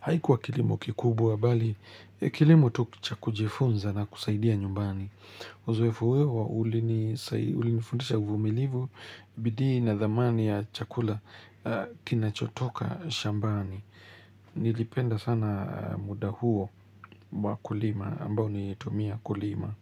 Haikuwa kilimo kikubwa bali, kilimo tu kucha kujifunza na kusaidia nyumbani. Uzoefu weo ulinifundisha uvumilivu, bidii na dhamani ya chakula kinachotoka shambani. Nilipenda sana muda huo wa kulima ambao nitumia kulima.